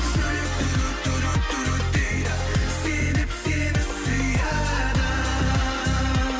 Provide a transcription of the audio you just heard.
жүрек дейді себеп сені сүйеді